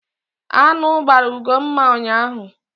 Aṅụ gbara Ugomma ụnyaahụ.